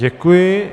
Děkuji.